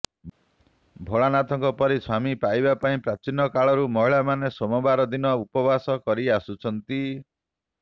ଭୋଳାନାଥଙ୍କ ପରି ସ୍ୱାମୀ ପାଇବା ପାଇଁ ପ୍ରାଚୀନ କାଳରୁ ମହିଳାମାନେ ସୋମବାର ଦିନ ଉପବାସ କରି ଆସୁଛନ୍ତି